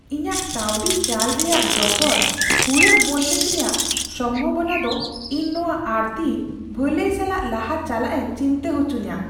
ᱤᱧᱟᱹᱜ ᱠᱟᱹᱣᱰᱤ ᱪᱟᱞ ᱨᱮᱭᱟᱜ ᱰᱚᱜᱚᱨ ᱦᱩᱲᱟᱹᱜ ᱵᱚᱱᱫᱮᱡ ᱨᱮᱭᱟᱜ ᱥᱚᱢᱵᱷᱚᱵᱚᱱᱟ ᱫᱚ ᱤᱧ ᱱᱚᱶᱟ ᱟᱹᱲᱛᱤ ᱵᱷᱟᱹᱞᱟᱹᱭ ᱥᱟᱞᱟᱜ ᱞᱟᱦᱟ ᱪᱟᱞᱟᱜ ᱮ ᱪᱤᱱᱛᱟᱹ ᱦᱚᱪᱚᱧᱟ ᱾